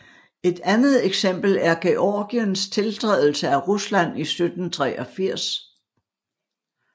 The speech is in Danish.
Et andet eksempel er Georgiens tiltrædelse af Rusland i 1783